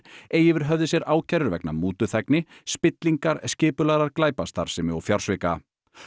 eigi yfir höfði sér ákærur vegna mútuþægni spillingar skipulagðrar glæpastarfsemi og fjársvika